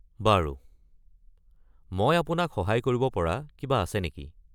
বাৰু, মই আপোনাক সহায় কৰিব পৰা কিবা আছে নেকি?